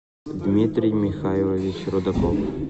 дмитрий михайлович рудаков